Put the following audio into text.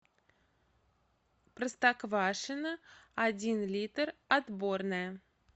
простоквашино один литр отборное